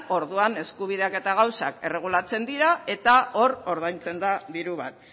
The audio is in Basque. orduan eskubideak eta gauzak erregulatzen dira eta hor ordaintzen da diru bat